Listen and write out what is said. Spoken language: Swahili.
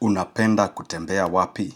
Unapenda kutembea wapi?